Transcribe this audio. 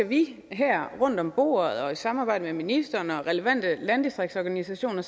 vi her rundt om bordet og i samarbejde med ministeren og relevante landdistriktsorganisationer